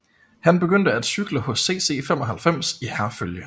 Han begyndte at cykle hos CC 95 i Herfølge